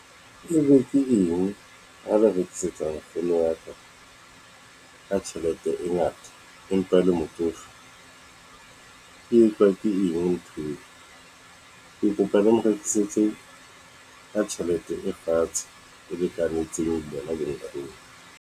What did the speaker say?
Ebe ke eng ha ba rekisetsa nkgono wa ka, ka tjhelete e ngata, empa le motsofe? E etswa ke eng ntho eo? Ke kopa le mo rekisetse ka tjhelete e fatshe e lekanetseng yena le nkgono.